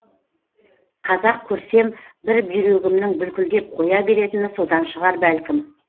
қазақ көрсем бір бүйрегімнің бүлкілдеп қоя беретіні содан шығар бәлкім